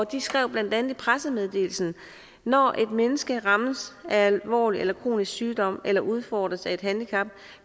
de skrev blandt andet i pressemeddelelsen når et menneske rammes af alvorlig eller kronisk sygdom eller udfordres af et handicap